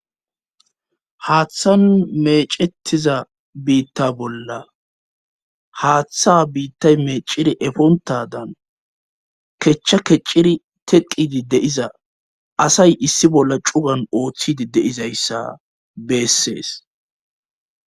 Haaththan mecettiza biitta bolla haaththa biittay meeciri efontadan kechcha kecciri teqidi deiza asay issi bolla cugan ooththidi deizayssa beessees.